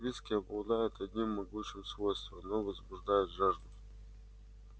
виски обладает одним могучим свойством оно возбуждает жажду